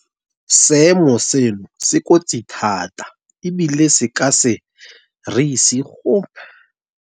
Seemo seno se kotsi thata ebile se ka se re ise gope.